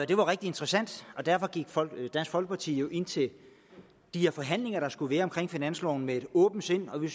det var rigtig interessant og derfor gik dansk folkeparti jo ind til de her forhandlinger der skulle være omkring finansloven med et åbent sind og vi